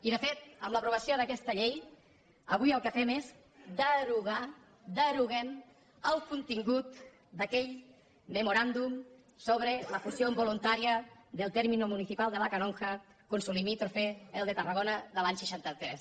i de fet amb l’aprovació d’aquesta llei avui el que fem és derogar deroguem el contingut d’aquell memorándum sobre la fusión voluntaria del término municipal de la canonja con su limítrofe el de tarragona de l’any seixanta tres